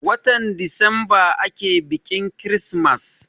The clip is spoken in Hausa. Watan desemba ake biƙin kirismas.